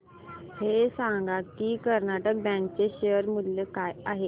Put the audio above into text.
हे सांगा की कर्नाटक बँक चे शेअर मूल्य काय आहे